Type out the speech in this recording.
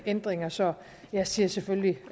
ændringer så jeg siger selvfølgelig